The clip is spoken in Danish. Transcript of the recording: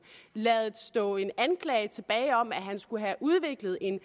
ladet stå en anklage tilbage om at han skulle have udviklet en